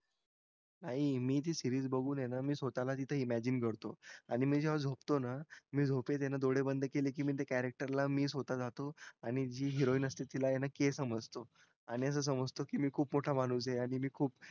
नाही मी ती series बगुन हे न मी स्वतःला तिथे imagine करतो आणि मी जेव्हा झोपतो ना मी झोपेत ना डोळे बंद केले कि मी ते character मी स्वता जातो आणि जी heroine अस्ते तिला हे ना के समजतो कि मी खूप मोठा माणूस हे आणि मी खूप